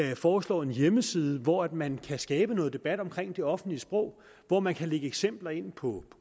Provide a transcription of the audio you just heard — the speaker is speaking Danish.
vi foreslår en hjemmeside hvor man kan skabe noget debat om det offentlige sprog hvor man kan lægge eksempler ind på